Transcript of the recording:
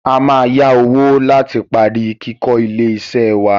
A máa yá owó láti parí kíkó ilé iṣẹ́ wá.